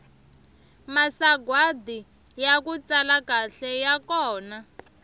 masagwadi yaku tsala kahle ya kona